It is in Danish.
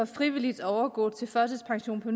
frivilligt kan overgå til førtidspension på